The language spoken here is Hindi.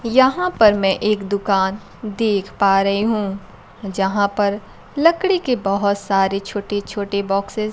यहां पर मैं एक दुकान देख पा रही हूं जहां पर लकड़ी के बहोत सारे छोटे छोटे बॉक्सेस --